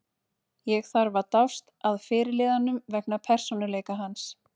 Ég þarf að dást að fyrirliðanum vegna persónuleika hans.